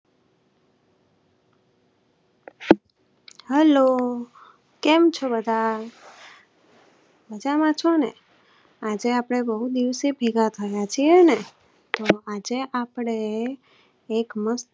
hello કેમ ચો બધા મજા માં છો ને આજે આપણે બહુ દિવસે ભેગા થીય છે ને આજે આપણે એક મસ્ત